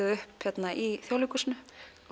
upp hér í Þjóðleikhúsinu